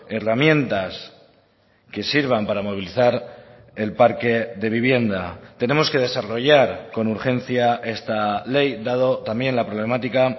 herramientas que sirvan para movilizar el parque de vivienda tenemos que desarrollar con urgencia esta ley dado también la problemática